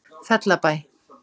Fellabæ